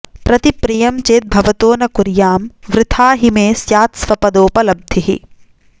प्रतिप्रियं चेद्भवतो न कुर्यां वृथा हि मे स्यात्स्वपदोपलब्धिः